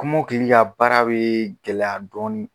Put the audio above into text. Kɔmɔkili ka baara bɛ gɛlɛya dɔɔnin